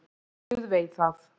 Guð veit það.